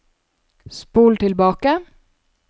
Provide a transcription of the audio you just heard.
spol tilbake